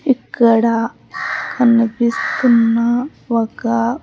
ఇక్కడ కనిపిస్తున్న ఒక్క.